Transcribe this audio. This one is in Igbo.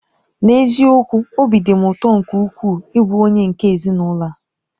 N'eziokwu! Obi dị m ụtọ nke ukwuu ịbụ onye nke ezinụlọ a.